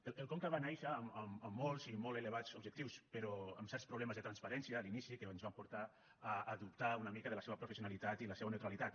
el conca va nàixer amb molts i molt elevats objectius però amb certs problemes de transparència a l’inici que ens van portar a dubtar una mica de la seva professionalitat i la seva neutralitat